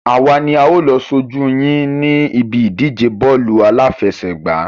Àwa ni a ó lọ ṣojú yín ní ibi ìdíje bọ́ọ̀lù àláfẹsẹ̀gbá.